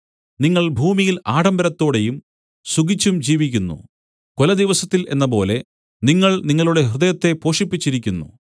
നിങ്ങൾ ഭൂമിയിൽ ആഡംബരത്തോടെയും സുഖിച്ചും ജീവിക്കുന്നു കൊലദിവസത്തിൽ എന്നപോലെ നിങ്ങൾ നിങ്ങളുടെ ഹൃദയത്തെ പോഷിപ്പിച്ചിരിക്കുന്നു